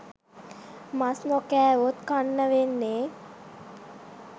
මස් නොකෑවොත් කන්න වෙන්නේ